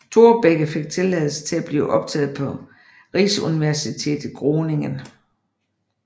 Thorbecke fik tilladelse til at blive optaget på Rijksuniversiteit Groningen